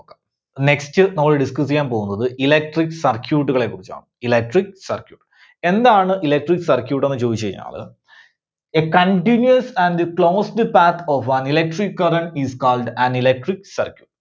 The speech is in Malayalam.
next നമ്മള് discuss ചെയ്യാൻ പോകുന്നത് Electric Circuit കളെ കുറിച്ചാണ്. electric circuit. എന്താണ് Electric Circuit എന്ന് ചോദിച്ച് കഴിഞ്ഞാല് a continuous and closed path of an electric current is called an electric circuit.